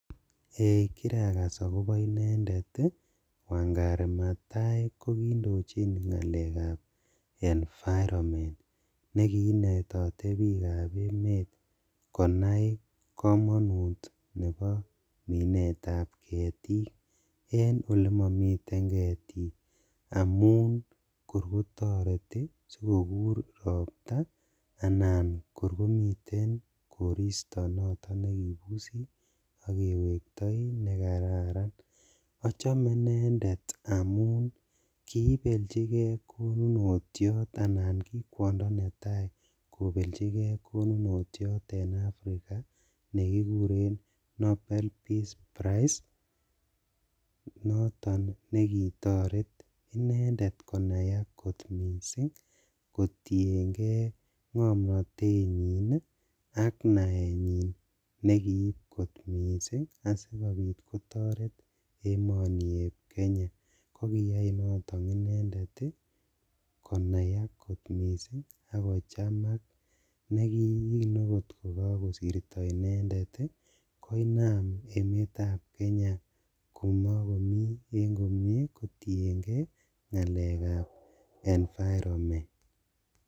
Kiragasaak ak kopa inendeet wangari matahai ako paa ngaleek ap mineet ap ketik eng olimamii ketitk asikokur roptaa anan ko koristoo nekararan achamee indendeet amun kikon kee kotyen kee ngamnatete nyiin asikopiit kotaret emet ap kenyaa ak kochaamkak ak emet ap kenyaa kotien geee ngaleek ap kekol ketik